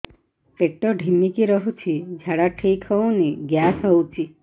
ପେଟ ଢିମିକି ରହୁଛି ଝାଡା ଠିକ୍ ହଉନି ଗ୍ୟାସ ହଉଚି